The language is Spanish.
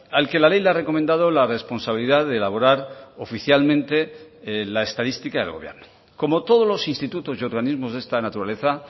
al que la ley le ha recomendado la responsabilidad de elaborar oficialmente la estadística del gobierno como todos los institutos y organismos de esta naturaleza